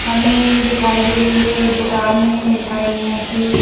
हमें दिखाई दे रही है एक दुकान है मिठाइयों की।